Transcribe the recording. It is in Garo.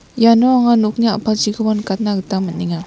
iano anga nokni a·palchiko nikatna gita man·enga.